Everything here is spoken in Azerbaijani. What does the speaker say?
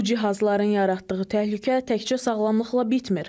Bu cihazların yaratdığı təhlükə təkcə sağlamlıqla bitmir.